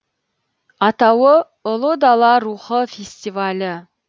атауы ұлы дала рухы фестивалі